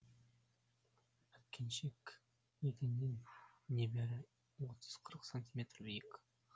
әткеншек еденнен небәрі отыз қырық сантиметр биік